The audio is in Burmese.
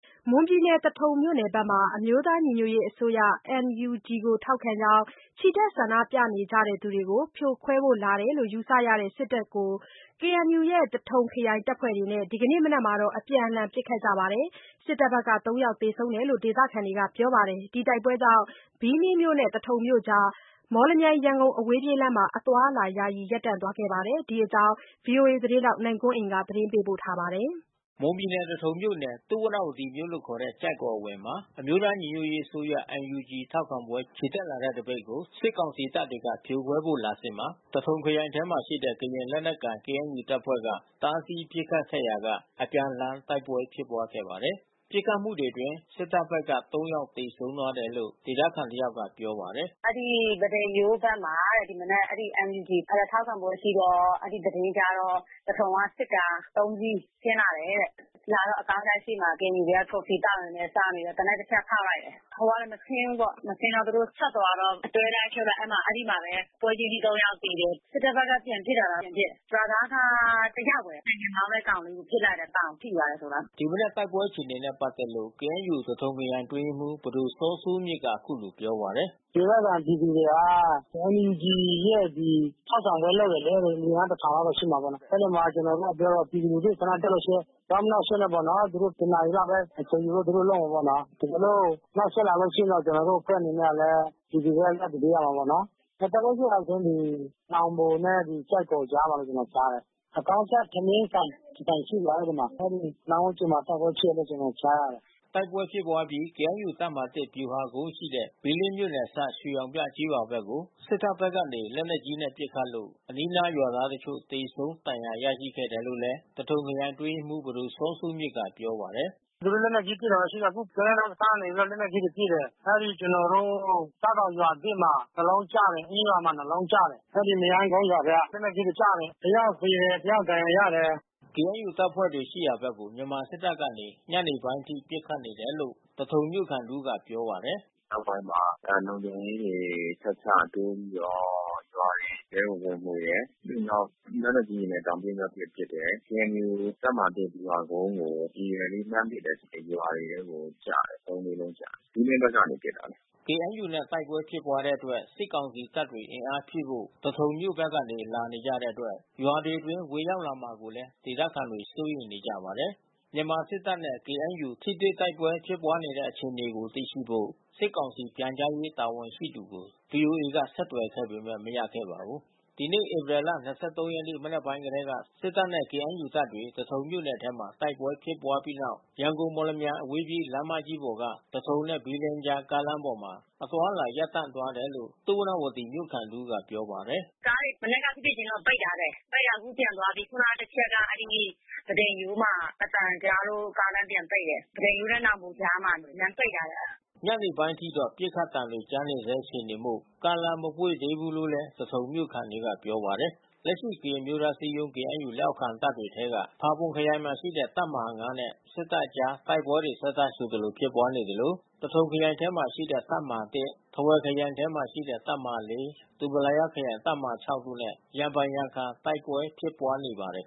မွန်ပြည်နယ် သထုံမြို့နယ်ဘက်မှာ အမျိုးသားညီညွတ်ရေးအစိုးရ NUG ကိုထောက်ခံကြောင်း ချီတက်ဆန္ဒပြကြသူတွေကို ဖြိုခွဲဖို့လာတယ်လို့ ယူဆရတဲ့ တပ်တွေနဲ့ KNU ရဲ့ သထုံခရိုင်တပ်ဖွဲ့တွေနဲ့ ဒီမနက်မှာ အပြန်အလှန်ပစ်ခတ်လို့ စစ်တပ်ဘက်က ၃ ယောက်သေဆုံးတယ်လို့ ဒေသခံတွေကပြောပါတယ်။ ဒီတိုက်ပွဲကြောင့် ဘီးလင်းမြို့နဲ့ သထုံမြို့ကြား မော်လမြိုင်-ရန်ကုန် အဝေးပြေးလမ်းမှာ အသွားအလာ ယာယီ ရပ်သွားခဲ့ပါတယ်။ ဒီအကြောင်းဗွီအိုအေသတင်းထောက်နိုင်ကွန်းအိန်က သတင်းပေးပို့ထားပါတယ်။ မွန်ပြည်နယ် သထုံမြို့နယ် သုဝဏ္ဏဝတီမြို့လို့ခေါ်တဲ့ ကျိုက်ကော်အဝင်မှာ အမျိုးသားညီညွတ်ရေးအစိုးရ NUG ထောက်ခံပွဲ ချီတက်လာတဲ့သပိတ်ကို စစ်ကောင်စီတပ်တွေက ဖြိုခွဲဖို့လာစဉ်မှာ သထုံခရိုင်ထဲမှာရှိတဲ့ ကရင်လက်နက်ကိုင် KNU တပ်ဖွဲ့က တားဆီးပစ်ခတ်ခဲ့ရာက အပြန်အလှန် တိုက်ပွဲဖြစ်ပွားခဲ့ပါတယ်။ ပစ်ခတ်မှုတွေအတွင်း စစ်တပ်ဖက်က ၃ ယောက်သေဆုံးတယ်လို့ ဒေသခံ တယောက်က ပြောပြပါတယ်။ "အဲဒီ ပန်းတိမ်ရိုးဘက်မှာ ဒီမနက် အဲဒီ NUG ထောက်ခံပွဲရှိတော့ အဲဒီသတင်းကြားတော့ သထုံက စစ်ကား သုံးစီး ဆင်းလာတယ်တဲ့။ လာတော့ အကောင်းကြိုက်ရှေ့မှာ KNU ဘက်ကကော်ဖီသောက်နေတယ်။ သောက်နေရင်း သေနတ်တချက် ဖောက်လိုက်တယ်။ ဟိုကလဲမဆင်းဘူးပေါ့။ သူတို့ဆက်သွားတော့ အတွဲလိုက်အဖြုတ်လိုက် အဲဒီမှာပဲ ပွဲချင်းပြီး သုံးယောက်သေတယ်။ စစ်တပ်ဘက်ကပြန်ပစ်တာလားမသိဘူး။ ရွာသားတယောက်ပဲ ဆိုင်ကယ်မောင်းတဲ့ကောင်လေး ပစ်လိုက်တယ် ပေါင်ထိသွားတယ်ဆိုလား။" ဒီမနက် တိုက်ပွဲဖြစ်ပွါးတဲ့အခြေအနေနဲ့ပက်သက်လို့ KNU သထုံခရိုင်အတွင်းရေးမှူး ပဒိုစောစိုးမြင့်က အခုလိုပြောပါတယ်။ "ဒေသခံပြည်သူတွေက NUG ရဲ့ထောက်ခံပွဲလုပ်တယ်လေ။ အင်အား ၁,၀၀၀ လောက်တော့ရှိမှာပေါ့နော်။ အဲဒီမှာ ကျနော်တို့ပြောတော့ ပြည်သူလူထုဆန္ဒပြလို့ရှိရင် သွားမနှောင့်ယှက်နဲ့ပေါ့နော်။ သူတို့တနာရီလောက်ပဲ အချိန်ယူပြီး သူတို့လုပ်မှာပေါ့နော်။ တကယ်လို့နှောင့်ယှက်လာလို့ရှိရင်တော့ ကျနော်တို့အဖွဲ့အနေနဲ့လည်း ပြည်သူဘက်က ရပ်တည် ပေးရတာပေါ့နော်။ တိုက်ပွဲဖြစ်တာတော့ ဒီ နောင်ဘိုနဲ့ကျိုက်ကော်ကြားမှာလို့ ကျနော်ကြားတယ်။ အကောင်းကြိုက်ထမင်းဆိုင်တဆိုင်ရှိတယ် အဲဒီမှာ။ အဲဒီအနားဝန်းကျင်မှာ တိုက်ပွဲဖြစ်တယ်လို့ကျနော်ကြားရတယ်။" တိုက်ပွဲဖြစ်ပွါးအပြီး KNU တပ်မဟာ ဗ ျူဟာကုန်းရှိတဲ့ ဘီးလင်းမြို့နယ်အစပ် ရွေရောင်ပြကျေးရွာဘက်ကို စစ်တပ်ဘက်က လက်နက်ကြီးတွေနဲ့ ပစ်ခတ်လို့ အနီးနားရွာသားတချို့သေဆုံးဒဏ်ရာရရှိခဲ့တယ်လိုလည်း သထုံခရိုင်အတွင်းရေးမှူး ပဒိုစောစိုးမြင့် ကပြောပါတယ်။ "သူတို့လက်နက်ကြီးတွေနဲ့ပစ်တာရှိတယ်။ အခုပိန္နဲတောစခန်းကနေ လက်နက်ကြီးတွေပစ်တယ်။ အဲဒီကျနော်တို့ ကျောက်တောင်ရွာသစ်မှာ တလုံးကျတယ်။ အင်းရွာမှာ နှစ်လုံးကျတယ်။ အဲဒီမရမ်းကုန်းရွာဘက်က လက်နက်ကြီး ကျတယ် တယောက်သေတယ် တယောက်ဒဏ်ရာရတယ်။" KNU တပ်ဖွဲ့တွေရှိရာဘက်ကို မြန်မာစစ်တပ်ကနေ ညနေပိုင်းအထိ ပစ်ခတ်နေတယ်လို့ သထုံမြို့ခံတဦးက ပြောပြပါတယ်။ "နောက်ပိုင်းမှာ လုံခြုံရေးတွေ ဆက်ချပေးပြီးတော့ ရွာတွေထဲကိုဝင်မွှေတယ်။ ပြီးရင်တော့လက်နက်ကြီးတွေနဲ့ တောင် ပစ်မြောက်ပစ် ပစ်တယ်။ KNU တပ်မဟာ ဗျူဟာကုန်းကို ရည်ရွယ်ပြီးလှမ်းပစ်တယ်။ ရွာတွေထဲကိုကျတယ်။ သုံး လေးလုံးကျတယ်။ ဘီးလင်းဘက်ကနေပစ်လာတာ။" ကေအန်ယူနဲ့ တိုက်ပွဲဖြစ်ပွားတဲ့အတွက် စစ်ကောင်စီတပ်တွေ အင်အားဖြည့်ဖို့ သထုံမြို့ဘက်ကနေ လာကြတဲ့အတွက် ရွာတွေအတွင်း ဝင်ရောက်လာမှာကိုလည်း ဒေသခံ တွေ စိုးရိမ်နေကြပါတယ်။ မြန်မာ စစ်တပ်နဲ့ KNU ထိတွေ့တိုက်ပွဲဖြစ်ပွားနေတဲ့အခြေအနေကိုသိရှိဖို့ စစ်ကောင်စီပြန်ကြားရေး တာဝန်ရှိသူကို ဗွီအိုအေက ဆက်သွယ်ခဲ့ပေမဲ့ မရခဲ့ပါဘူး။ ဒီနေ့ ဧပြီလ ၂၃ ရက်နေ့ မနက်ပိုင်းကတည်းက စစ်တပ်နဲ့ KNU တပ်တွေ သထုံမြို့နယ်ထဲမှာ တိုက်ပွဲဖြစ်ခဲ့ပြီးတဲ့နောက် ရန်ကုန် မော်လမြိုင် အဝေးပြေးလမ်းမကြီးပေါ်က သထုံနဲ့ ဘီလင်းကြား ကားလမ်းပေါ်မှာ အသွားအလာ ရပ်တံ့သွားတယ်လို့ သုဝဏ္ဏဝတီမြို့ခံတဦး က ပြောပါတယ်။ " "ကားတွေ မနက်ကဖြစ်ဖြစ်ချင်းတော့ ပိတ်ထားတယ်။ ပိတ်တော့အခုပြန်သွားပြီ။ ခုနတချက်က ပန်းတိမ်ရိုးမှာ အသံကြားလို့ ကားတန်းပြန်ပိတ်တယ်။ ပန်းတိမ်ရိုးနဲ့နောင်ဘိုကြားမှာ လမ်းပိတ်ထားတယ်။" ညနေပိုင်းအထိတော့ ပစ်သံကြားနေဆဲအခြေအနေမို့က ားလမ်းမပွင့်သေးဘူးလို့သထုံမြို့ခံတွေကပြောပါတယ်။ လက်ရှိ ကရင်အမျိုးသားအစည်းအရုံး KNU လက်အောက်ခံတပ်တွေထဲက ဖာပွန်ခရိုင်မှာရှိတဲ့ တပ်မဟာ နဲ့ စစ်တပ်ကြား တိုက်ပွဲတွေ ဆက်တိုက်ဆိုသလို ဖြစ်ပွါးနေသလို သထုံခရိုင်ထဲမှာရှိတဲ့ တပ်မဟာ ၊ ထားဝယ်ခရိုင်ထဲမှာရှိတဲ့ တပ်မဟာ ၊ ဒူပလာယားခရိုင် တပ်မဟာ တို့နဲ့ ရံဖန်ရံခါတိုက်ပွဲဖြစ်ပွါးနေပါတယ်